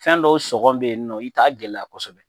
Fɛn dɔw sɔngɔ bɛ yen nɔ i t'a gɛlɛya kosɛbɛ